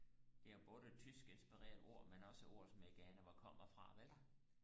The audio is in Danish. de har både tysk inspirerede ord men også ord som jeg ikke aner hvor kommer fra vel